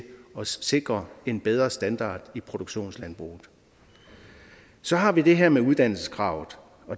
at sikre en bedre standard i produktionslandbruget så har vi det her med uddannelseskravet